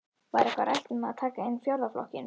Var eitthvað rætt um það að taka inn fjórða flokkinn?